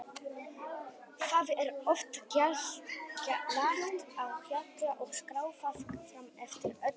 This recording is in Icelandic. Það er oft glatt á hjalla og skrafað fram eftir öllu.